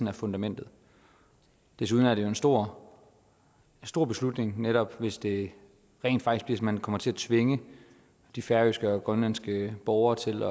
er fundamentet desuden er det jo en stor stor beslutning netop hvis det rent faktisk man kommer til at tvinge de færøske og grønlandske borgere til